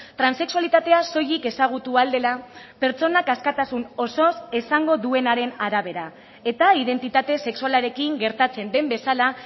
transexualitatea soilik ezagutu ahal dela pertsonak askatasun osoz esango duenaren arabera eta identitate sexualarekin gertatzen den bezala